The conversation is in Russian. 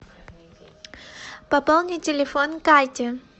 пополни телефон кати